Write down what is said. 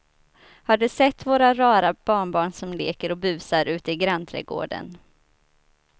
Har du sett våra rara barnbarn som leker och busar ute i grannträdgården!